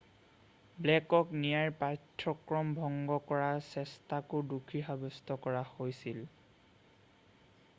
ব্লেকক ন্যায়ৰ পাঠ্যক্ৰমক ভংগ কৰাৰ চেষ্টাকো দোষী সাব্যস্ত কৰা হৈছিল